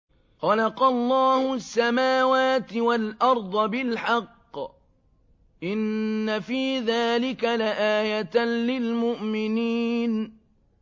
خَلَقَ اللَّهُ السَّمَاوَاتِ وَالْأَرْضَ بِالْحَقِّ ۚ إِنَّ فِي ذَٰلِكَ لَآيَةً لِّلْمُؤْمِنِينَ